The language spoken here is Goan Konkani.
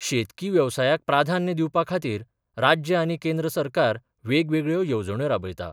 शेतकी वेवसायाक प्राधान्य दिवपा खातीर राज्य आनी केंद्र सरकार वेगवेगळ्यो येवजण्यो राबयतात.